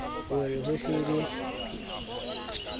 ho re ho se be